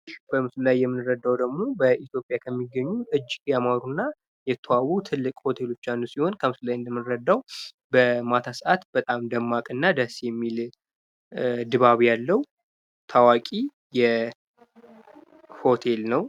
በምስሉ ላይ የምንረዳው ደግሞ በኢትዮጵያ ከሚገኙ ያማሩና የተዋቡ ሆቴሎች አንዱ ሲሆን ፤ በማታ ሰአት በጣም ደስ የሚልና የሚያምር ድባብ ያለው ሆቴል ነው።